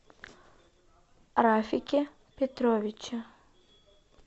рафике петровиче